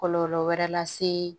Kɔlɔlɔ wɛrɛ lase